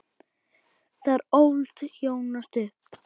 Þar ólst Jónas upp.